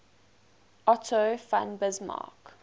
otto von bismarck